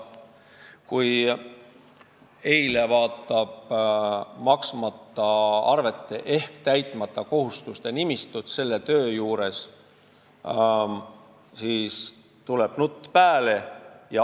Kui vaadata maksmata arvete ehk täitmata kohustuste nimistut selle töö juures, siis tuleb nutt pääle.